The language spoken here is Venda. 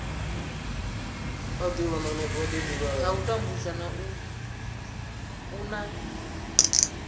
ha u tambudzwa u na